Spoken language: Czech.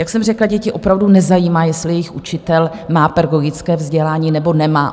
Jak jsem řekla, děti opravdu nezajímá, jestli jejich učitel má pedagogické vzdělání, nebo nemá.